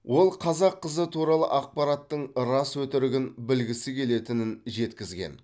ол қазақ қызы туралы ақпараттың рас өтірігін білгісі келетінін жеткізген